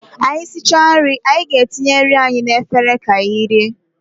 Anyị esichaa nri anyị na-etinye nri anyị na efere ka anyị rie